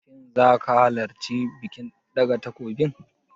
Shin zaka halarci bikin ɗaga takobin?